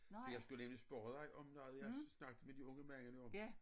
Jeg skulle egentlig spørge dig om noget jeg snakkede med de unge mænd om